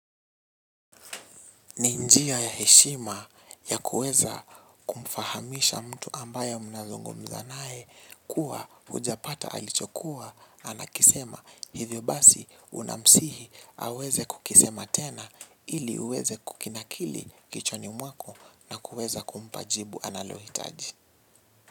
Ni njia ya heshima ya kuweza mfahamisha mtu ambayo mnazungumza nae kuwa ujapata alichokuwa anakisema hivyo basi unamsihi aweze kukisema tena ili uweze kukinakili kichwani mwako na kuweza kumpa jibu analohitaji.